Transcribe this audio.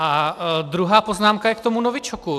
A druhá poznámka je k tomu novičoku.